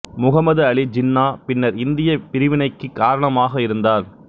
முகம்மது அலி ஜின்னா பின்னர் இந்தியப் பிரிவினைக்குக் காரணமாக இருந்தார்